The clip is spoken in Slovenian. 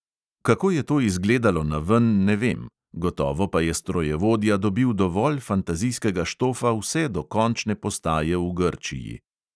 Kako je to izgledalo naven, ne vem, gotovo pa je strojevodja dobil dovolj fantazijskega štofa vse do končne postaje v grčiji.